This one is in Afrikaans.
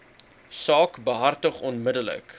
saak behartig onmiddellik